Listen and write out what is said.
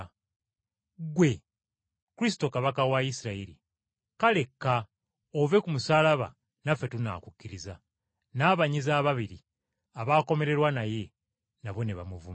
Ggwe! Kristo, Kabaka wa Isirayiri! Kale kka ove ku musaalaba naffe tunaakukkiriza!” N’abanyazi ababiri abaakomererwa naye, nabo ne bamuvuma.